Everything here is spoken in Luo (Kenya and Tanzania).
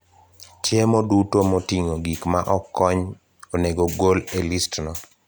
Chiemo duto moting'o gik ma ok kony onego ogol e listno